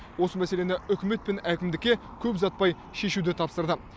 осы мәселені үкімет пен әкімдікке көп ұзатпай шешуді тапсырды